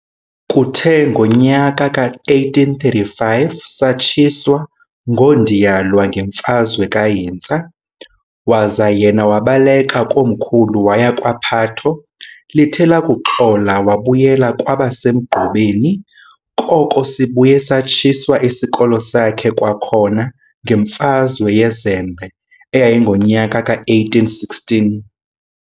Kuthe ngonyaka ka-1835, satshiswa ngoondiyalwa ngenfazwe kaHintsa, waza yena wabaleka komkhulu waya kwa-Phatho. Lithe lakuxola wabuyela kwabaseGqubeni, koko sibuye satshiswa isikolo sakhe kwakhona ngemfazwe yeZembe eyayingonyaka ka1816.